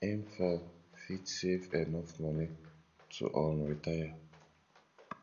im fon fit save enough money to um retire